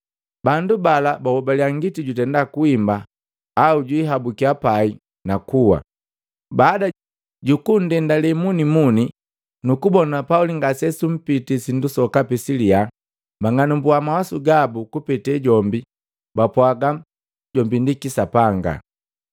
Bandu bala bahobaliya ngiti jutenda kuhimba au jwiihabukiya pai na kuwa. Lakini baada jukundendale munimuni nukubona Pauli ngase suntenda sindu sokapi silya, bang'anumbua mawasu gabu kupete jombi, bapwaaga jombi ndi kisapanga.”